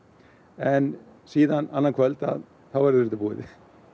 en síðan annað kvöld þá verður þetta búið